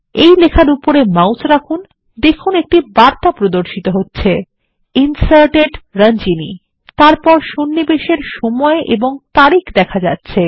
এই লেখার উপরে মাউস রাখুন দেখুন একটি বার্তা প্রদর্শিত হচ্ছে ইনসার্টেড Ranjani তারপর সন্নিবেশ এর সময় ও তারিখ দেখা যাচ্ছে